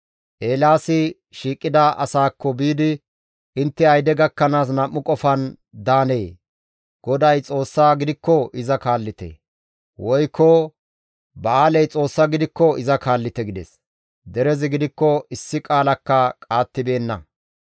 Eelaasi shiiqida asaakko biidi, «Intte ayde gakkanaas nam7u qofan daanee? GODAY Xoossa gidikko iza kaallite! Woykko Ba7aaley Xoossa gidikko iza kaallite» gides. Derezi gidikko issi qaalakka qaattibeenna.